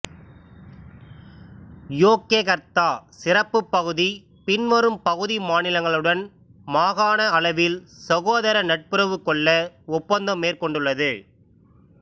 Yogyakarta சிறப்புப் பகுதி பின்வரும் பகுதி மாநிலங்களுடன் மாகாண அளவில் சகோதர நட்புறவு கொள்ள ஒப்பந்தம் மேற்கொண்டுள்ளது